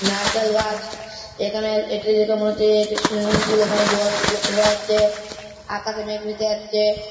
নারকেল গাছ। এখানে এটি দেখে মনে হচ্ছে এটি সুইমিং পুল এখানে জল লক্ষ্য করা যাচ্ছে। আকাশে মেঘ ভেসে যাচ্ছে।